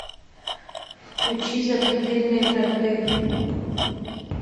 включи запредельные торты